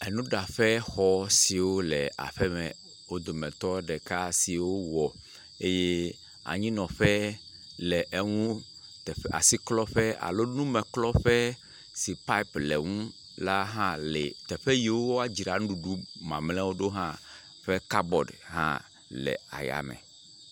Enuɖaƒe xɔ siwo le aƒeme, wo dometɔ ɖeka si wowɔ eye anyinɔƒe le eŋu, asiklɔƒe, alo enumeklɔƒe si paip le ŋu la hã le, teƒe yiwo woadzra nuɖuɖu mamlɛwo ɖo ƒe kabɔd hã le ayame.